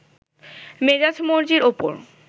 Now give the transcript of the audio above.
মেজাজ মর্জির ওপর